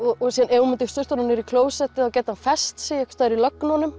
ef hún myndi sturta honum niður í klósettið gæti hann fest sig einhvers staðar í